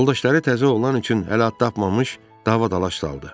Yoldaşları təzə oğlan üçün hələ ad tapmamış dava dalaş saldı.